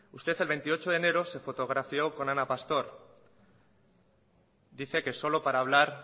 usted el veintiocho de enero se fotografió con ana pastor dice que solo para hablar